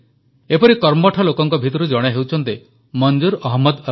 ଏପରି କର୍ମଠ ଲୋକଙ୍କ ଭିତରୁ ଜଣେ ହେଉଛନ୍ତି ମଂଜୁର୍ ଅହମଦ ଅଲାଇ